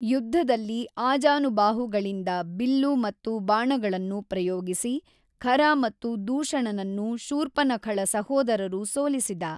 ಯುದ್ಧದಲ್ಲಿ ಆಜಾನು ಬಾಹುಗಳಿಂದ ಬಿಲ್ಲು ಮತ್ತು ಬಾಣಗಳನ್ನು ಪ್ರಯೋಗಿಸಿ ಖರ ಮತ್ತು ದೂಶಣನನ್ನು ಶೂರ್ಪನಖಳ ಸಹೋದರರು ಸೋಲಿಸಿದ.